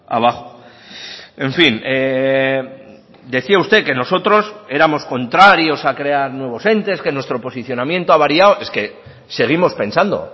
abajo en fin decía usted que nosotros éramos contrarios a crear nuevos entes que nuestro posicionamiento ha variado es que seguimos pensando